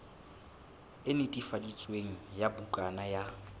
e netefaditsweng ya bukana ya